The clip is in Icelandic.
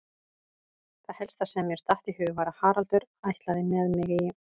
Það helsta sem mér datt í hug var að Haraldur ætlaði með mig í